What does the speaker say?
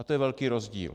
A to je velký rozdíl.